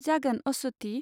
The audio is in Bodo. जागोन, अस्वथि।